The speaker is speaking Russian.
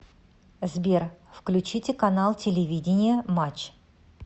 сбер включите канал телевидения матч